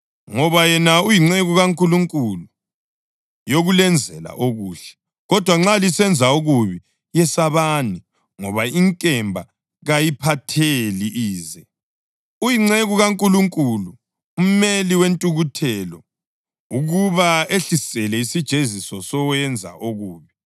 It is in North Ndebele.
Ngoba yena uyinceku kaNkulunkulu yokulenzela okuhle. Kodwa nxa lisenza okubi, yesabani, ngoba inkemba kayiphatheli ize. Uyinceku kaNkulunkulu, umeli wentukuthelo ukuba ehlisele isijeziso kowenza okubi.